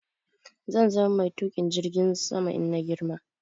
Zan zama mai Tuƙin jirgin sama in na girma